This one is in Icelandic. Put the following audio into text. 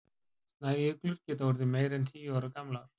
snæuglur geta orðið meira en tíu ára gamlar